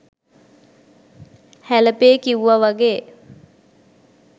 හැලපේ කිව්ව වගේ